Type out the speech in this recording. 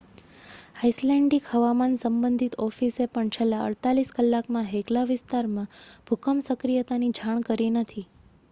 Icelandic હવામાન સંબંધિત ઓફિસે પણ છેલ્લાં 48 કલાકમાં હેકલા વિસ્તારમાં ભૂકંપ સક્રિયતાની જાણ કરી નથી